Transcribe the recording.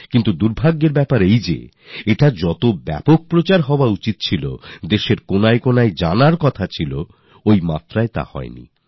কিন্তু দুর্ভাগ্যবশত এর যতটা ব্যাপক প্রচার হওয়া উচিত যতটা দেশের কোনায় কোনায় ছড়িয়ে যাওয়া উচিত সেই পরিমাণে হয় না